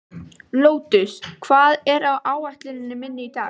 Lótus, hvað er á áætluninni minni í dag?